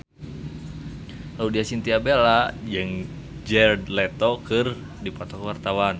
Laudya Chintya Bella jeung Jared Leto keur dipoto ku wartawan